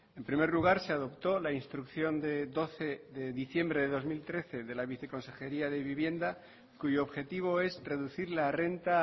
en primer lugar se adoptó la instrucción de doce de diciembre de dos mil trece de la viceconsejería de vivienda cuyo objetivo es reducir la renta